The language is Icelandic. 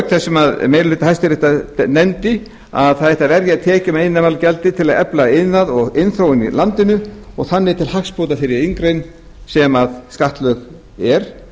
auk þess sem meiri hluti hæstaréttar nefndi að það ætti að verja tekjum af iðnaðarmálagjaldi til að efla iðnað og iðnþróun í landinu og þannig til hagsbóta þeirri atvinnugrein sem skattlögð er